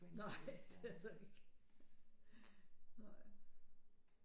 Nej det er der ikke nej